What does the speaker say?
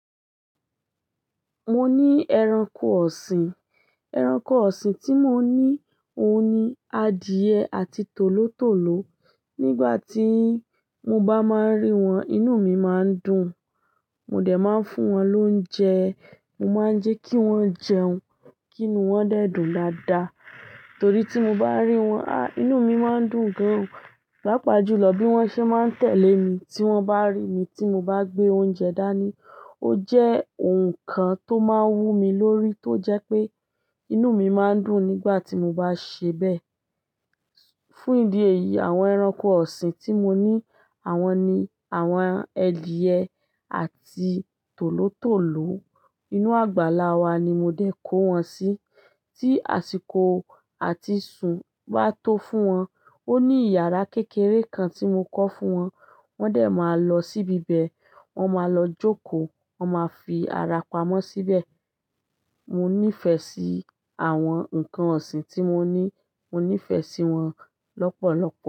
Mo ní ẹranko ọ̀sìn. Ẹranko ọ̀sìn tí mo ní òun ni adìẹ àti tòlótòló. Nígbà tí mo bá máa ń rí wọn, inú mi máa ń dùn. Mo dẹ̀ máa ń fún wọn lóúnjẹ. Mo máa ń jẹ́ kí wọ́n jẹun kí inú wọn dẹ́ dùn dáadáa. Torí tí mo bá rí wọn, á, inú mi má ń dùn gan. Lápa júlọ bí wọ́n ṣe máa ń tẹ̀lé mi tí wọ́n bá rí mi tí mo bá gbé oúnjẹ dání. Ó jẹ́ nǹkan tó máa ń wú mi lórí tó jẹ́ pé inú mi má ń dùn nígbà tí mo bá ṣe bẹ́ẹ̀. Fún ìdí èyí, àwọn ẹranko ọ̀sìn tí mo ní àwọn ni àwọn adìẹ àti tòlótòló. Inú àgbàlá wa ni mo dé kó wọn sí. Tí àsìkò àti sún bá tó fún wọn, ó ní ìyàrá kékeré kan tí mo kọ́ fún wọn. Wọ́n dẹ̀ máa lọ síbi ibẹ̀. Wọ́n máa lọ jókòó. Wọ́n máa fi ara pamọ́ síbẹ̀. Mo nífẹ̀ẹ́ sí àwọn ǹkan ọ̀sìn tí mo ní. Mo nífẹ̀ẹ́ sí wọn lọ́pọ̀lọpọ̀.